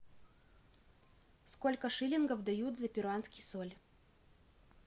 сколько шиллингов дают за перуанский соль